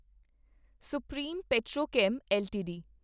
supreme Petrochem LTD